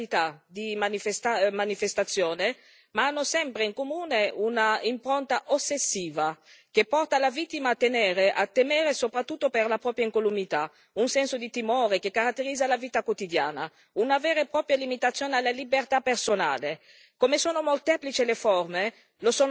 Le persecuzioni possono assumere innumerevoli modalità di manifestazione, ma hanno sempre in comune un'impronta ossessiva che porta la vittima a temere soprattutto per la propria incolumità, un senso di timore che caratterizza la vita quotidiana, una vera e propria limitazione alla libertà personale.